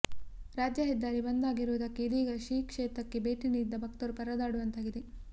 ರಾಜ್ಯ ಹೆದ್ದಾರಿ ಬಂದ್ ಆಗಿರುವುದಕ್ಕೆ ಇದೀಗ ಶ್ರೀ ಕ್ಷೇತ್ರಕ್ಕೆ ಭೇಟಿ ನೀಡಿದ್ದ ಭಕ್ತರು ಪರದಾಡುವಂತಾಗಿದೆ